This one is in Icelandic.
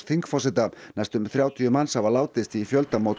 þingforseta næstum þrjátíu manns hafa látist í